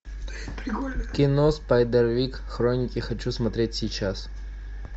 кино спайдервик хроники хочу смотреть сейчас